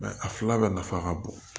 a fila bɛɛ nafa ka bon